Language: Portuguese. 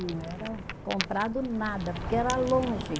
Não era comprado nada, porque era longe.